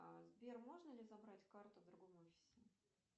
сбер можно ли забрать карту в другом офисе